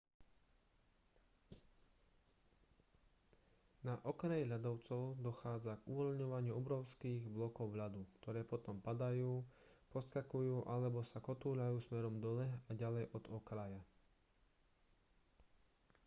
na okraji ľadovcov dochádza k uvoľňovaniu obrovských blokov ľadu ktoré potom padajú poskakujú alebo sa kotúľajú smerom dole a ďalej od okraja